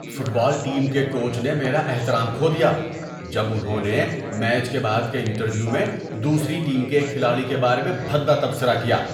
Fit بال team کے coach نے میرا احترام کھو دیا جب انہوں نے میچ کے بعد کے انٹرویو میں دوسری ٹیم کے ایک کھلاڑی کے بارے میں بھدا تبصرہ کیا۔